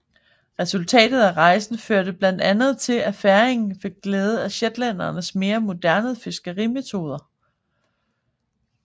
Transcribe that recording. Resultatet af rejsen førte blandt andet til at færingerne fik glæde af shetlændernes mere moderne fiskerimetoder